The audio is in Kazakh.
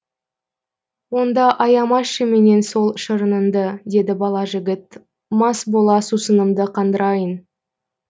онда аямашы менен сол шырыныңды деді бала жігіт мас бола сусынымды қандырайын